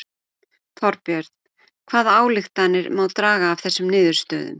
Þorbjörn hvaða ályktanir má draga af þessum niðurstöðum?